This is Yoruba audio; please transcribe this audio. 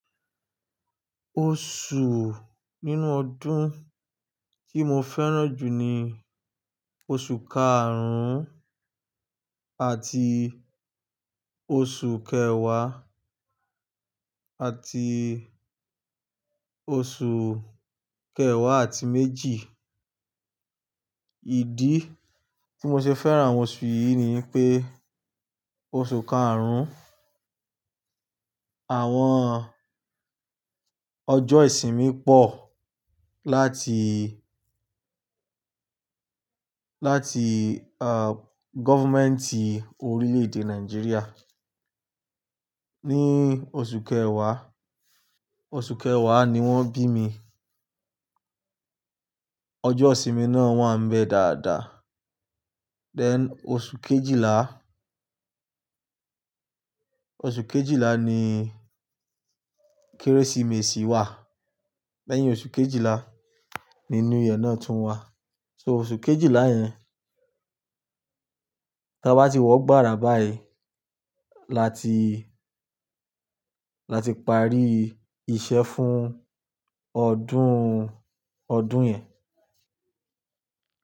Oṣù nínú ọdún tí mo fẹ́ràn jù ni oṣù karùn-ún àti oṣù kẹwàá àti oṣù kẹwàá àti méjì. Ìdí tí mo ṣe fẹ́ràn àwọn oṣù yìí ni wipé oṣù karùn-ún, àwọn ọjọ́ ìsinmi pọ̀ láti, láti, à, governmenti orílè-èdè Nàìjíríà. Ni oṣù kẹwàá, oṣù kẹwàá ni wọ́n bí mi. Ọjọ́ ìsinmi náà wa n bẹ dáadáa. Then oṣù kejìlá, oṣù kejìlá ni Kérésìmesì wà. Lẹ́yìn oṣù kejìlá ni New Year náà tún wà. So oṣù kejìlá yẹn, ta bá ti wọ gbára báyìí, la ti, la ti parí iṣẹ́ fún ọdún, ọdún yẹn.